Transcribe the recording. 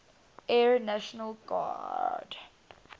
air national guard